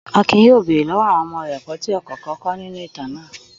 Akin yóò bèrè lọ́wọ́ àwọn ọmọ rẹ ẹ̀kọ́ tí ọ̀kọ̀ọ̀kan kọ́ nínú ìtàn náà.